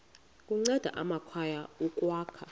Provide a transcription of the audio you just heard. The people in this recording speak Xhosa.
kunceda amakhaya ukwakha